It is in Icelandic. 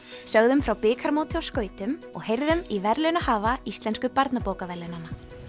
sögðum frá bikarmóti á skautum og heyrðum í verðlaunahafa íslensku barnabókaverðlaunanna